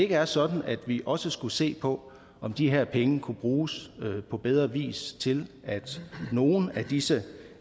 er sådan at vi også skulle se på om de her penge kunne bruges på bedre vis til at nogle af disse